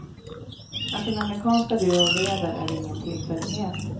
Att den amerikanska duon leder är ingen tillfällighet.